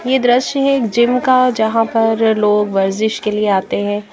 ये दृश्य हैं एक जिम का जहाँ पर लोग वर्जिश के लिए आते हैं।